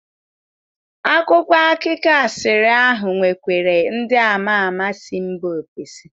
Akwụkwọ akụkọ asịrị ahụ nwekwara ndị ama ama si mba ofesi.